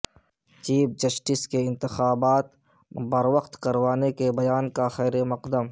chief justice کے انتخابات بروقت کروانے کے بیان کا خیر مقدم